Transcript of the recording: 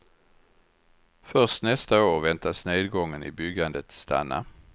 Först nästa år väntas nedgången i byggandet stanna.